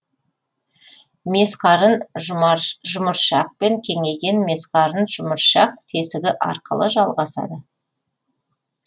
месқарын жұмыршақпен кеңейген месқарын жұмыршақ тесігі арқылы жалғасады